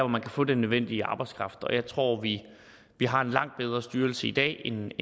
man kan få den nødvendige arbejdskraft og jeg tror vi har en langt bedre styrelse i dag end